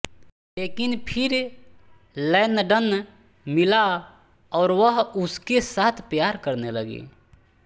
लेकिन फिर लैनडन मिला और वह उसके साथ प्यार करने लगी